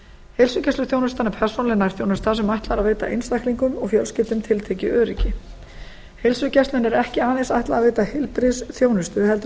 heilsugæsluþjónustan er persónuleg nærþjónusta sem ætlað er að veita einstaklingum og fjölskyldum tiltekið öryggi heilsugæslunni er ekki aðeins ætlað að veita heilbrigðisþjónustu heldur er